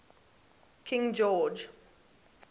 king george